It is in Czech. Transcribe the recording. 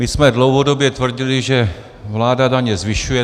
My jsme dlouhodobě tvrdili, že vláda daně zvyšuje.